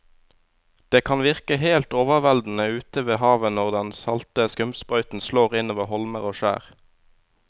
Det kan virke helt overveldende ute ved havet når den salte skumsprøyten slår innover holmer og skjær.